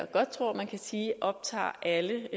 godt tror man kan sige optager alle